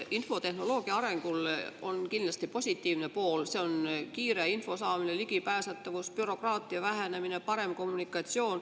Infotehnoloogia arengul on kindlasti positiivne pool: see on kiire info saamine, ligipääsetavus, bürokraatia vähenemine, parem kommunikatsioon.